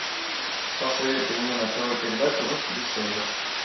посоветуй мне на тв передачу русский бестселлер